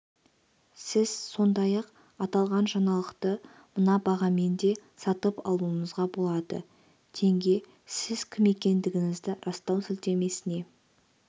сіз сондай-ақ аталған жаңалықты мына бағамен де сатып алуыңызға болады тенге сіз кім екендігіңізді растау сілтемесіне